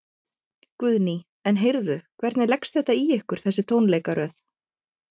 Guðný: En heyrðu, hvernig leggst þetta í ykkar þessi tónleikaröð?